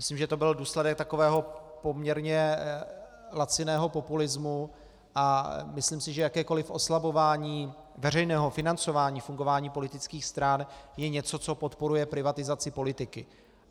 Myslím, že to byl důsledek takového poměrně laciného populismu, a myslím si, že jakékoliv oslabování veřejného financování fungování politických stran je něco, co podporuje privatizaci politiky.